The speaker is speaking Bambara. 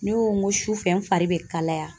Ne ko n ko sufɛ n fari bɛ kalaya.